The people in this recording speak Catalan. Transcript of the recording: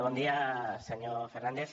bon dia senyor fernández